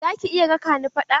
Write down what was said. Za ki iya raƙa ni fada?